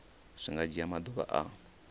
zwi nga dzhia maḓuvha a